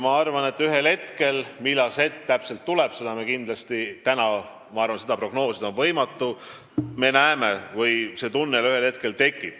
Ma arvan, et ühel hetkel – millal see hetk täpselt tuleb, seda on täna prognoosida kindlasti võimatu – see tunnel tekib.